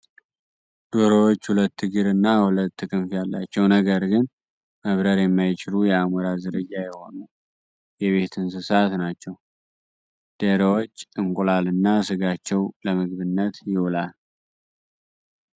ዶሮዎች ሁለት እግር እና ሁለት ክንፍ ያላቸው ነገር ግን መብረር የማይችሉ የአሞራ ዝርያ የሆኑ የቤት እንስሳት ናቸው። ደሮዎች እንቁላል እና ስጋቸው ለምግብነት ይውላል።